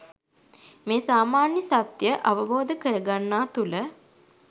මේ සාමාන්‍ය සත්‍යය අවබෝධ කරගන්නා තුළ